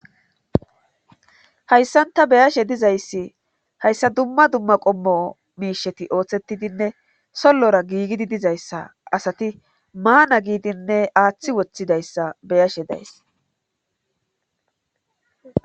hayssanta beyashe dizayssi hayssa dumma dumma qommo miisheti ooththettidinne sollora giigidi dizayssa asati maana giidinne aaththi woththidayssa beyashe days